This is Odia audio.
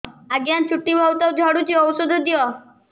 ଆଜ୍ଞା ଚୁଟି ବହୁତ୍ ଝଡୁଚି ଔଷଧ ଦିଅ